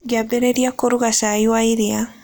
Ngĩambĩrĩria kũruga cai wa iria.